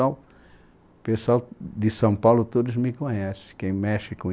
O pessoal de São Paulo todos me conhecem, quem mexe com